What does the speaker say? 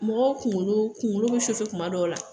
Mɔgɔw kungolo kungolo be sofe kuma dɔw la